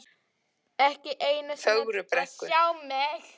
Ekki einu sinni til að sjá mig.